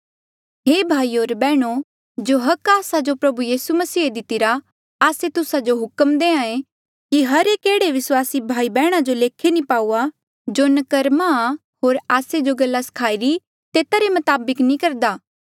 हे भाईयो होर बैहणो जो हक आस्से प्रभु यीसू मसीहे आस्सो दितिरा आस्से तुस्सा जो हुक्म दे कि हर एक एह्ड़े विस्वासी भाई बैहणा जो लेखे नी पाऊआ जो नकर्मा आ होर आस्से जो गल्ला सखाई री तेता रे मताबक नी करदा